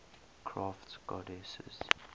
crafts goddesses